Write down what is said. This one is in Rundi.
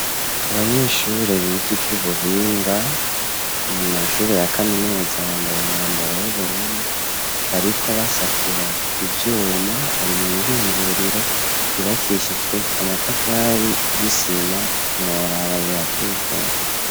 Abanyeshuri biga ivy'ubuhinga mu mashuri ya kaminuza bambaye umwambaro w'ubururu bariko basatura ivyuma bari muihinguriro ryubakishijwe amatafari y'isima ntiworaba birateye igomwe.